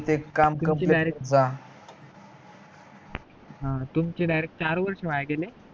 ह तुमचे direct चार वर्ष वाया गेले